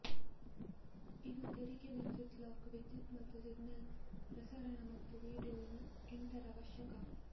ಇದು ತೆರೆಗೆ ವಿದ್ಯುತ್ ಲಾಕ್ ವಿದ್ಯುತ್ ಮತ್ತು ಸಿಗ್ನಲ್ ಪ್ರಸರಣ ಮತ್ತು ವೀಡಿಯೊ ಇಂಟರ್ ಅವಶ್ಯಕ